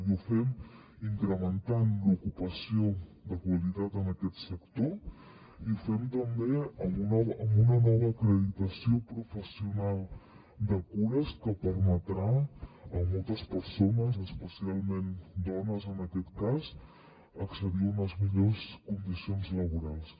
i ho fem incrementant l’ocupació de qualitat en aquest sector i ho fem també amb una nova acreditació professional de cures que permetrà a moltes persones especialment dones en aquest cas accedir a unes millors condicions laborals